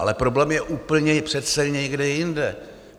Ale problém je úplně přece někde jinde.